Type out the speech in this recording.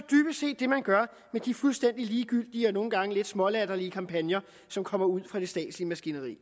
det man gør med de fuldstændig ligegyldige og nogle gange lidt smålatterlige kampagner som kommer ud fra det statslige maskineri